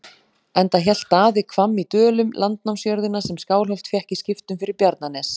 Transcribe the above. Enda hélt Daði Hvamm í Dölum, landnámsjörðina sem Skálholt fékk í skiptum fyrir Bjarnanes.